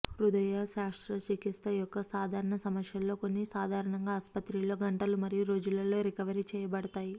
హృదయ శస్త్రచికిత్స యొక్క సాధారణ సమస్యలలో కొన్ని సాధారణంగా ఆసుపత్రిలో గంటలు మరియు రోజులలో రికవరీ చేయబడతాయి